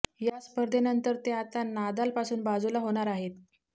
या स्पर्धेनंतर ते आता नादालपासून बाजूला होणार आहेत